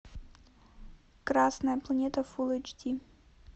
красная планета фулл эйч ди